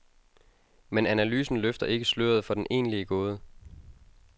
Men analysen løfter ikke sløret for den egentlige gåde.